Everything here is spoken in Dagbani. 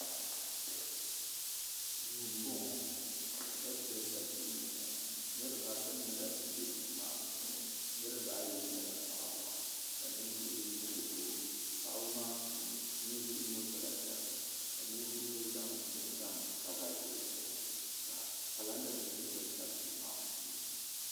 Duu m boŋɔŋɔ hɛdrɛsa duu n boŋɔ niri baata nyɛla ban bɛ duu maa puu ni niri baa Yi nyala paɣaba ka nin vuɣu yino nyɛ doo paɣaba maa puu ni nin vuɣu yino pala sariga ka nin vuɣu yino ƶanŋ bɛni n ƶanŋ kava doo ƶuɣu ka kalanda nim nyɛ din tabi duu maa puuni.